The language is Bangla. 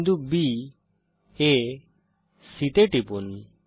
বিন্দু baসি তে টিপুন